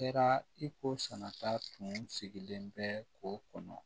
Kɛra i ko sɛnɛta tun sigilen bɛ k'o kɔnɔ